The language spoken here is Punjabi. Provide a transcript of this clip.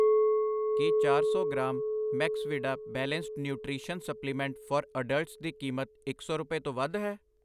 ਕੀ ਚਾਰ ਸੌ gram Maxvida balanced nutrition supplement for adults ਦੀ ਕੀਮਤ ਇੱਕ ਸੌ ਰੁਪਏ ਤੋਂ ਵੱਧ ਹੈ?